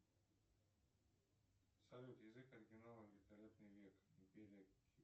салют язык оригинала великолепный век